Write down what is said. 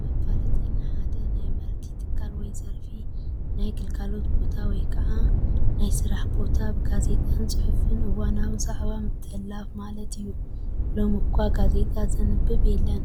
መፋለጢ፡- ንሓደ ናይ ምህርቲ ትካል ወይ ዘርፊ ፣ ናይ ግልጋሎት ቦታ ወይ ከዓ ናይ ስራሕ ቦታ ብጋዜጣን ፅሑፍን እዋናዊ ዛዕባ ምትሐልላፍ ማለት እዩ፡፡ ሎሚ እኳ ጋዜጣ ዘንብብ የለን